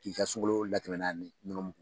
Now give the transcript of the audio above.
K'i ka sungalo latɛmɛn n'a ni nɔnɔmugu